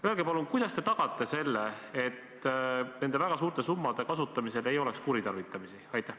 Öelge palun, kuidas te tagate, et nende väga suurte summade kasutamisel ei esineks kuritarvitamist?